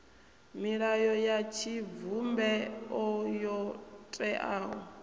milayo ya tshivhumbeo yo teaho